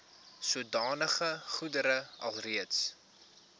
sodanige goedere alreeds